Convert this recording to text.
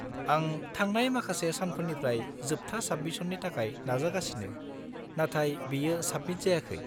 -आं थांनाय माखासे सानफोरनिफ्राय जोबथा साबमिशननि थाखाय नाजागासिनो, नाथाय बेयो साबमिट जायाखै।